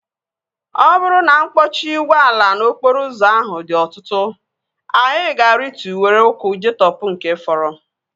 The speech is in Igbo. Ọ bụrụ na mkpọchi ụgbọala n'okporo ụzọ ahụ dị ọtụtụ, anyị ga-arịtụ were ụkwụ jeetopu nke fọrọ